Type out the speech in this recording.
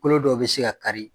Kolo dɔw bɛ se ka kari.